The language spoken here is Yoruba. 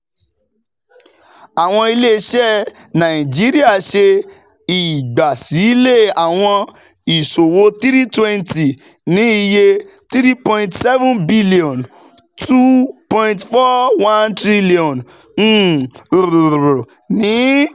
um Awọn ile-iṣẹ Naijiria ṣe igbasilẹ awọn iṣowo three hundred twenty ni iye $ five point seven bilionu (N two point four one trillion ) um ni